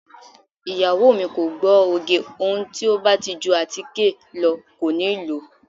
Ìyàwó mi kò gbọ́ oge, ohun tí ó bá ti ju àtíkè lọ kò níi lòó.